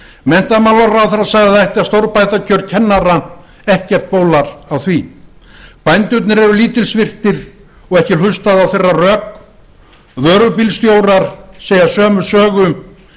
menntamálaráðherra sagði að það ætti að stórbæta kjör kennara ekkert bólar á því bændurnir eru lítilsvirtir og ekki er hlustað á þeirra rök vörubílstjórar segja sömu sögu